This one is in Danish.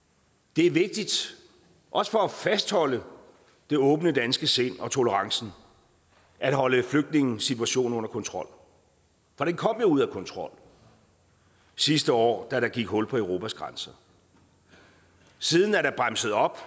det er vigtigt også for at fastholde det åbne danske sind og tolerancen at holde flygtningesituationen under kontrol for den kom jo ud af kontrol sidste år da der gik hul på europas grænser siden er der bremset op